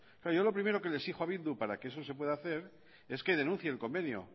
claro yo lo primero que le exijo a bildu para que eso se pueda hacer es que denuncie el convenio